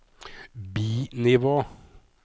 bi-nivå